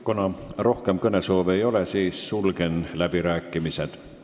Kuna rohkem kõnesoove ei ole, siis sulgen läbirääkimised.